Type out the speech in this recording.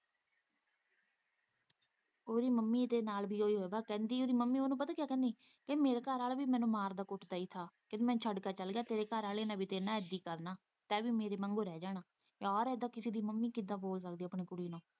ਉਹਦੀ ਮੰਮੀ ਦੇ ਨਾਲ਼ ਵੀ ਇਹੋ ਹਓਗਾ ਕਹਿੰਦੀ ਉਹਦੀ ਮੰਮੀ ਉਹਨੂੰ ਪਤਾ ਕਿਆ ਕਹਿੰਦੀ ਮੇਰੇ ਘਰਵਾਲਾ ਵੀ ਮੈਨੂੰ ਮਾਰਦਾ- ਕੁੱਦਾ ਸੀ ਤੇ ਮੈਨੂੰ ਛੱਡ ਕੇ ਚੱਲ ਗਿਆ ਤੇ ਤੇਰੇ ਘਰਵਾਲੇ ਨੇ ਵੀ ਤੇਰੇ ਨਾਲ਼ ਵੀ ਇੱਦਾ ਹੀ ਕਰਨਾ ਤੇ ਵੀ ਮੇਰੇ ਵਾਂਗੂੰ ਰਹਿ ਜਾਣਾ ਯਾਰ ਇੱਦਾ ਕਿਸੇ ਦੀ ਮੰਮੀ ਕਿੱਦਾ ਬੋਲ ਸਕਦੀ ਆਪਣੀ ਕੁੜੀ ਲਈ।